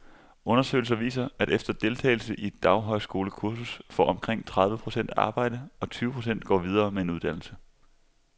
Undersøgelser viser, at efter deltagelse i et daghøjskolekursus får omkring tredive procent arbejde, og tyve procent går videre med en uddannelse.